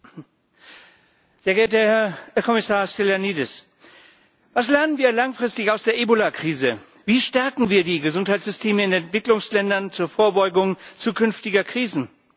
Herr Präsident, sehr geehrter Herr Kommissar Stylianides! Was lernen wir langfristig aus der Ebola Krise? Wie stärken wir die Gesundheitssysteme in Entwicklungsländern zur Vorbeugung zukünftiger Krisen?